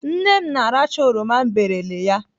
Nne m na-aracha oroma m berele ya.